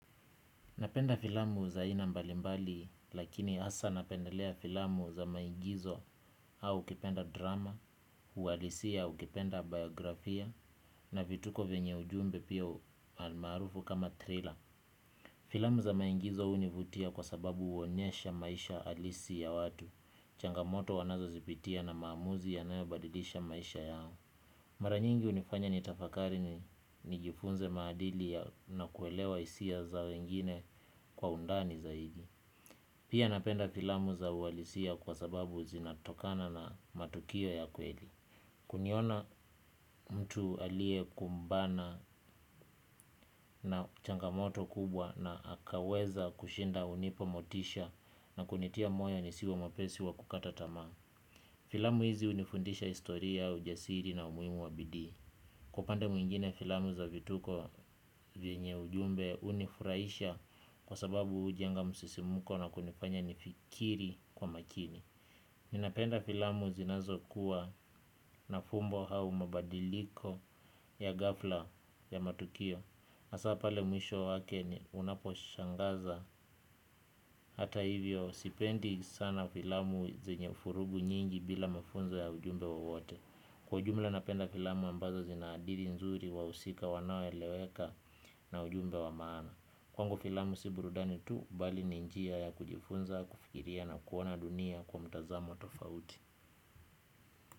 Napenda filamu za aina mbalimbali lakini hasaa napendelea filamu za maigizo au ukipenda drama, uhalisia ukipenda biografia na vituko vyenye ujumbe pia almarufu kama thriller. Filamu za maigizo hunivutia kwa sababu huonyesha maisha halisi ya watu, changamoto wanazozipitia na maamuzi yanayobadilisha maisha yao. Mara nyingi hunifanya nitafakari nijifunze maadili na kuelewa hisia za wengine kwa undani zaidi. Pia napenda filamu za uhalisia kwa sababu zinatokana na matukio ya kweli. Kuniona mtu aliyekumbana na changamoto kubwa na akaweza kushinda hunipa motisha na kunitia moyo nisiwe mwepesi wa kukata tamaa. Filamu hizi hunifundisha historia, ujasiri na umuhimu wa bidii. Kwa upande mwingine filamu za vituko vyenye ujumbe hunifurahisha kwa sababu hujenga msisimuko na kunifanya nifikiri kwa makini. Ninapenda filamu zinazokuwa na fumbo au mabadiliko ya ghafla ya matukio hasaa pale mwisho wake unaposhangaza hata hivyo sipendi sana filamu zenye vurugu nyingi bila mafunzo ya ujumbe wowote. Kwa ujumla napenda filamu ambazo zinaadili nzuri wahusika wanaoeleweka na ujumbe wa maana. Kwangu filamu si burudani tu, bali ni njia ya kujifunza, kufikiria na kuona dunia kwa mtazamo tofauti.